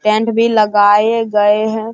Tent भी लगाए गए है ।